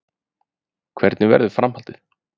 Hvernig verður framhaldið?